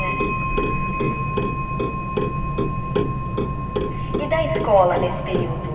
É. É e da escola nesse período?